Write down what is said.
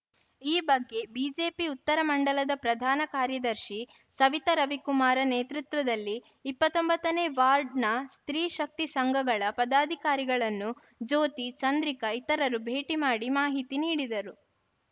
ಈ ಬಗ್ಗೆ ಬಿಜೆಪಿ ಉತ್ತರ ಮಂಡಲದ ಪ್ರಧಾನ ಕಾರ್ಯದರ್ಶಿ ಸವಿತಾ ರವಿಕುಮಾರ ನೇತೃತ್ವದಲ್ಲಿ ಇಪ್ಪತ್ತ್ ಒಂಬತ್ತು ನೇ ವಾರ್ಡ್‌ನ ಸ್ತ್ರೀ ಶಕ್ತಿ ಸಂಘಗಳ ಪದಾಧಿಕಾರಿಗಳನ್ನು ಜ್ಯೋತಿ ಚಂದ್ರಿಕಾ ಇತರರು ಭೇಟಿ ಮಾಡಿ ಮಾಹಿತಿ ನೀಡಿದರು